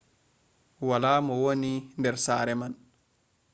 wala mo wooni der sare man